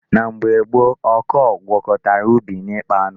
N'oge gboo ọkọọ gwkọtara ubi na ịkpa anụ.